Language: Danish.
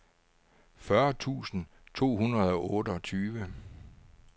fyrre tusind to hundrede og otteogtyve